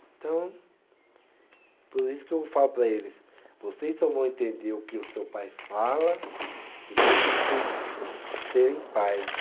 Então, por isso que eu falo para eles, vocês só vão entender o que o seu pai fala o dia que vocês fo, serem pais.